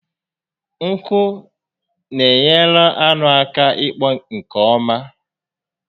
Nku n'enyere anụ aka ịkpọ nke ọma